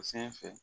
O sanfɛ